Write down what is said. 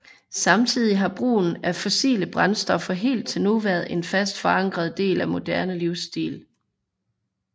Samtidig har brugen af fossile brændstoffer helt til nu været en fast forankret del af moderne livsstil